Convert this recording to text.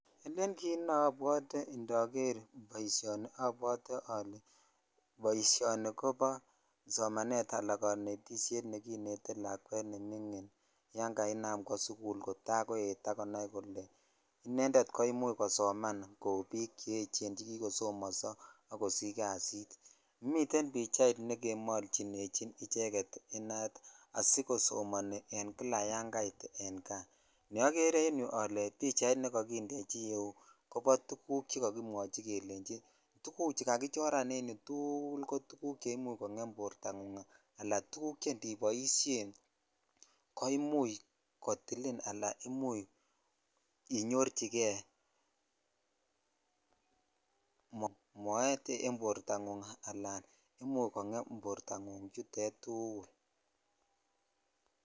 Elen kit neobwotee indoger boisionni obwotee olee boisionni kobo somanet ala konetishet nekinetetìlakwet nemingin yan kainam kwo sukul ak koet ak akonai kole inended komuch kosoman koi cheechen chekikosomonso ak kosich miten pacha nekindechi inat asikosomoni kila yan kait en kaa ne ogere en yuu kole bichait nekokindechi yuu kelenchi tuguchu tukul ko tuguk che imuch kongem borta ngung tuguk che indiboishen ko imuch kotilin ala imuch kei (puse )inyorchi kei moet en bortangung ala kongem bortangung tukul.